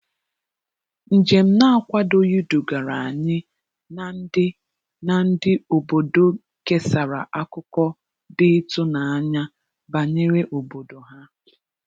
Njem na-akwadoghị dugara anyị na ndị na ndị obodo kesara akụkọ dị ịtụnanya banyere obodo ha.